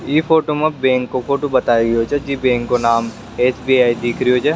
ई फोटो मा बैंक काे फोटो बताई रो छे जे बैंक का नाम एस.बी.आई. दिख रहो छे।